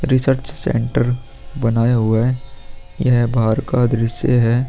Research centre बनाया हुआ है यह बाहर का दृश्य है।